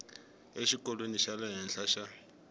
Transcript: exikolweni xa le henhla xa